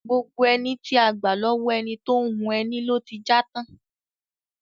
Gbogbo ẹní tí a gbà lọ́wọ́ ẹni tó ń hun ẹni ló ti já tán.